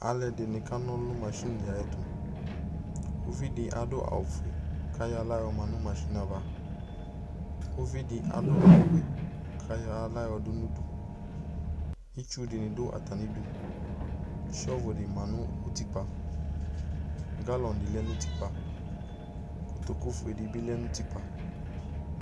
Alʋɛdɩnɩ ka nɔlʋ nʋ masɩnɩ ayɛtʋ : uvidɩ adʋ awʋfue k'ayɔ aɣla yɔma nʋ masɩnɩɛ ava Uvidɩ adʋ awʋwɛ k'ayɔ aɣla yɔdʋ n'udu Itsudɩnɩ dʋ atamidu , sɔvʋnɩ ma n'utikpa, galɔnɩdɩ lɛ n'utikpa, ; kotokufuedɩ bɩ lɛ n'utikpa